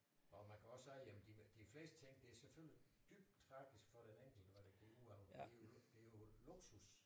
Og man kan også sige jamen de fleste ting det er selvfølgelig dybt tragisk for den enkelte når det går ud over hele det jo luksus